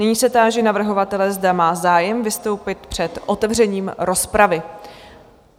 Nyní se táži navrhovatele, zda má zájem vystoupit před otevřením rozpravy?